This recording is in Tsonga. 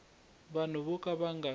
vanhu vo ka va nga